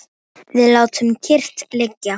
Við látum kyrrt liggja